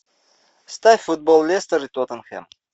ставь футбол лестер и тоттенхэм